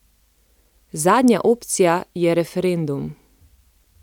Zadnja opcija je referendum.